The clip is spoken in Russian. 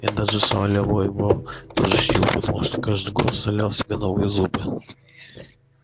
и даже сам лева её тоже чтил потому что каждый год вставлял себе новые зубы